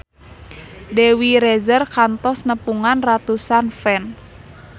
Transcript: Dewi Rezer kantos nepungan ratusan fans